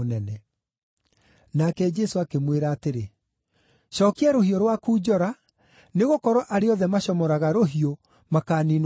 Nake Jesũ akĩmwĩra atĩrĩ, “Cookia rũhiũ rwaku njora nĩgũkorwo arĩa othe macomoraga rũhiũ makaaniinwo na rũhiũ.